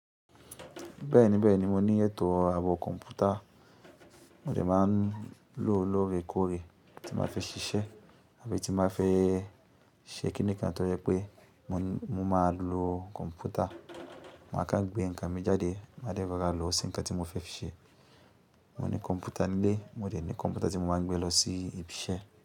Bẹ́ẹ̀ní bẹ́ẹ̀ni mo ní ètò àwọ̀ kọ̀ǹpútà, mo dẹ̀ máa ń lò ó lóore kóòre tí máa fẹ́ ṣiṣẹ́ àbí tí máa fẹ́ ṣẹ̀kínì kan tó yẹ pé mo máa lo kọ̀ǹpútà. Mo máa kan gbé nǹkan mi jáde máa dẹ́ ro ra lọ sin nkan tí mo fẹ́ fi ṣẹ. Mo ní kọ̀ǹpútà ń lé, mo dẹ̀ ní kọ̀ǹpútà tí mo máa ń gbé lọ sí ibi iṣẹ́.